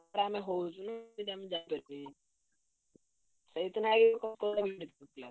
ଆମ ହଉଛି ସେଇଥି ଲାଗି ।